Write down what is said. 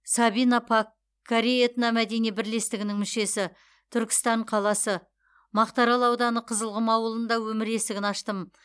сабина пак корей этномәдени бірлестігінің мүшесі түркістан қаласы мақтаарал ауданы қызылқұм ауылында өмір есігін аштым